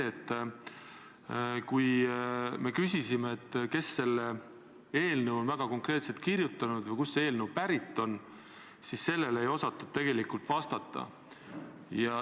Kui me küsisime, kes selle eelnõu on konkreetselt kirjutanud või kust see eelnõu pärit on, siis sellele ei osatud tegelikult vastata.